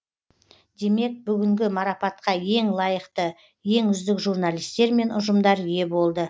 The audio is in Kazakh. демек бүгінгі марапатқа ең лайықты ең үздік журналистер мен ұжымдар ие болды